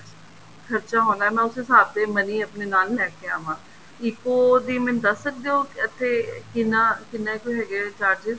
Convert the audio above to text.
ਖ਼ਰਚਾ ਹੁੰਦਾ ਮੈਂ ਉਸ ਹਿਸਾਬ ਤੇ money ਆਪਣੀ ਨਾਲ ਲੈ ਕੇ ਆਵਾਂ ECO ਦੀ ਮੈਨੂੰ ਦੱਸ ਸਕਦੇ ਓ ਇੱਥੇ ਕਿੰਨਾ ਕਿੰਨਾ ਕੁ ਹੈਗੇ charges